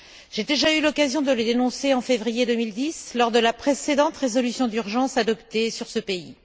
J'ai déjà eu l'occasion de les dénoncer en février 2010 lors de la précédente résolution d'urgence adoptée sur ce pays.